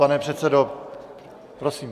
Pane předsedo, prosím.